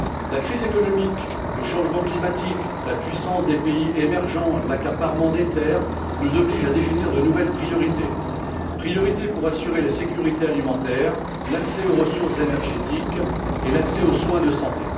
La crise économique, le changement climatique, la puissance des pays émergents, l'accaparement des terres, nous obligent à définir de nouvelles priorités assurer la sécurité alimentaire, l'accès aux ressources énergétiques et l'accès aux soins de santé.